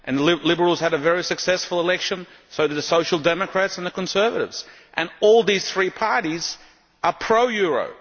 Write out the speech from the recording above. The Liberals had a very successful election, as did the Social Democrats and the Conservatives. All these three parties are pro euro.